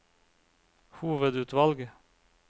hovedutvalg